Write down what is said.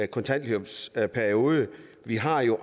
kontanhjælpsperiode vi har jo